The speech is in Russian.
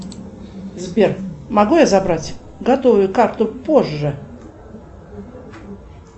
сбер могу я забрать готовую карту позже